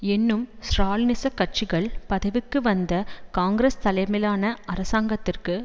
என்னும் ஸ்ராலினிச கட்சிகள் பதவிக்கு வந்த காங்கிரஸ் தலைமையிலான அரசாங்கத்திற்கு